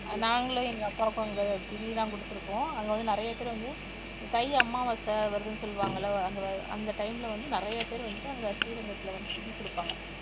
நாங்களும் எங்க அப்பாவுக்கும் அந்த திதி எல்லாம் கொடுத்திருக்கோம் அங்க வந்து நிறைய பேர் வந்து தை அமாவாசை வருதுன்னு சொல்லுவாங்கல்ல அந்த time ல வந்து நிறைய பேர் வந்து அங்க ஸ்ரீரங்கத்துல வந்து திதி கொடுப்பாங்க